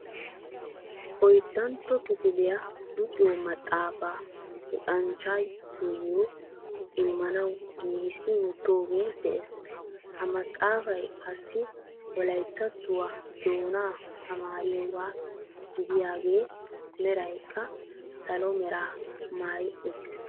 Oyddantto kifiliyaa luxxiyoo maxaafaa luxxanchchatuyo immanawu giigissi wottoogee de'ees. ha maxaafay qassi wolayttattuwaa doonaa tamariyoogaa gidiyaagee meraykka salo meraa maayi uttiis.